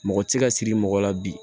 Mɔgɔ ti se ka siri mɔgɔ la bi